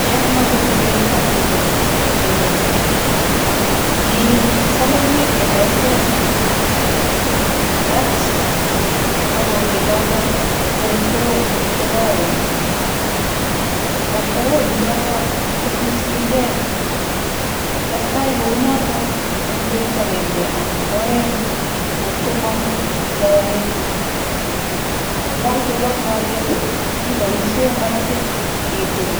Cheng makongek ak ichop kosoiyo, iil soleiwek cheterter, rat makongek choto koek boroonik che Koen, rat borooni choto kosirsirkei, testai kou noto eng betut akenge anan ko oeng ngot komong lolet, ye kakochobok lolet ii, iboisie makasit itil